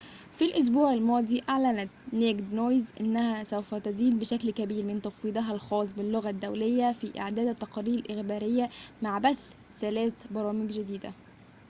في الأسبوع الماضي أعلنت naked news أنها سوف تزيد بشكل كبير من تفويضها الخاص باللغة الدولية في إعداد التقارير الإخبارية مع بث ثلاث برامج جديدة